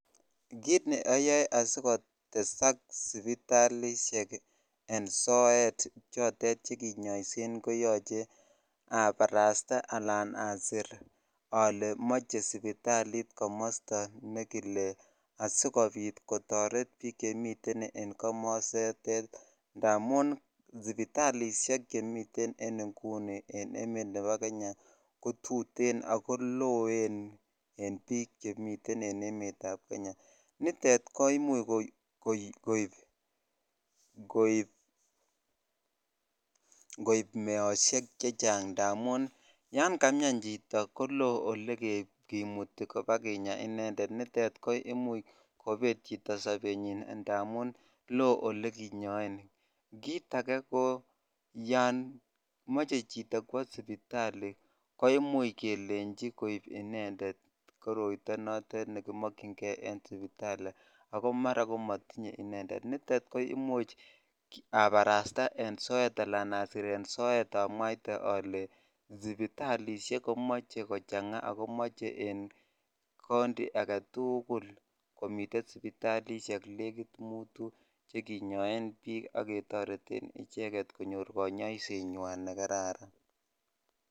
Kiit neaaae asikotesak sipilatisheet koyache aparastaanan asir ale mechi sipitalit kimaste neke lee amun sipitalisheek chemi emet ap kenya ko tee che kile amun imuuch koib meosheek chechang ako imuchii konget chito ak komee ako yachee kebarsta eng soet ak alee yachee kochanga sipitalisheek ak koyachee konyor kanyaiseii nwaa ne kararan